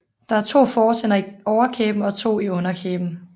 Der er to fortænder i overkæben og to i underkæben